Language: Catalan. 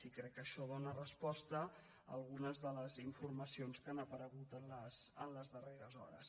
i crec que això dóna resposta a algunes de les informacions que han aparegut les darreres hores